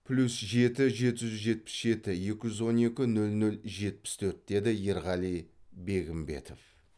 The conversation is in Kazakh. плюс жеті жеті жүз жетпіс жеті екі жүз он екі нөл нөл жетпіс төрт деді ерғали бегімбетов